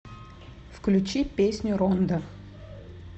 включи песню рондо